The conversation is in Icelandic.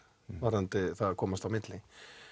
varðandi það að komast á milli